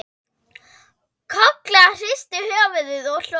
Kolla hristi höfuðið og hló.